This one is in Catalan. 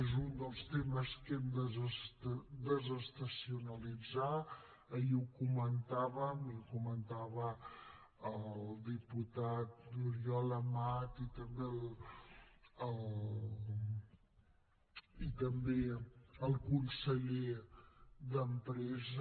és un dels temes que hem de desestacionalitzar ahir ho comentàvem i ho comentava el diputat oriol amat i també el conseller d’empresa